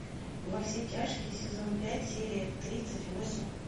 во все тяжкие сезон пять серия тридцать восемь